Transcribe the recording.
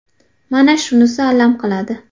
Mana shunisi alam qiladi.